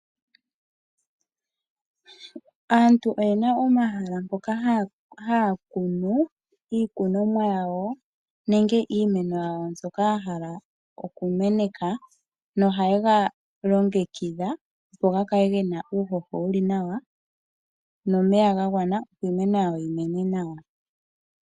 Aantu oyena omahala ngoka haya kunu iikunomwa yawo nenge iimeno yawo, mbyoka haya hala oku meneka noha yega longekidha opo ga kale gena uuhoho nawa nomeya gagwana, opo iimeno yawo yi mene nawa.